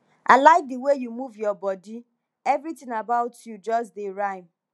i like the way you move your body everything about you just dey rhyme